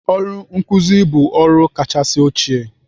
Ọrụ nkuzi bụ ọrụ kachasị ochie'